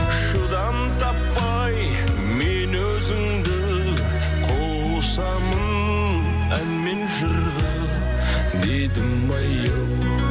шыдам таппай мен өзіңді қосамын ән мен жырға дедімай ау